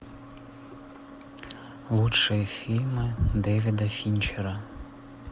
лучшие фильмы дэвида финчера